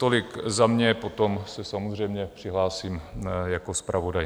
Tolik za mě, potom se samozřejmě přihlásím jako zpravodaj.